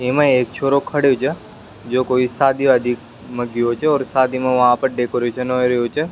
एमा एक छोरो खड़ो छ जो कोई शादी वादी माँ गउ छ और सादी मा वहा पर डेकोरेशन हो रहियो छ।